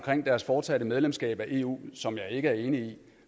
deres fortsatte medlemskab af eu som jeg ikke er enig i